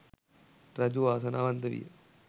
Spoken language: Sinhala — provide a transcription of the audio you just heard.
රජු වාසනාවන්ත විය.